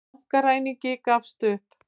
Bankaræningi gafst upp